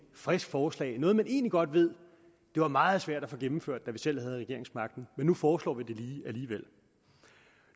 frisk forslag noget man egentlig godt ved var meget svært at få gennemført da man selv havde regeringsmagten men nu foreslår man lige alligevel